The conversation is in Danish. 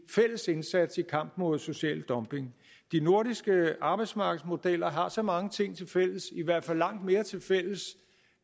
fælles indsats i kampen mod social dumping de nordiske arbejdsmarkedsmodeller har så mange ting tilfælles i hvert fald langt mere tilfælles